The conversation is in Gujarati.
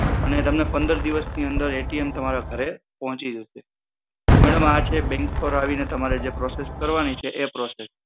અને તમને પંદર દિવસ ની અંદર એ ટી એમ તમારા ઘરે પોહચી જશે તો madam આ છે bank પર આવીને તમારે જે process કરવાની છે એ process